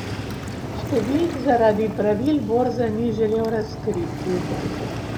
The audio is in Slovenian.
Številk zaradi pravil borze ni želel razkriti.